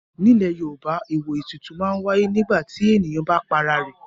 Nílẹ̀ Yorùbá àwọn ètùtù máa ń wáyé nígbà tí ènìyàn bá para rẹ̀.